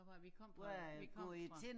Hvor er det vi kom fra vi kom fra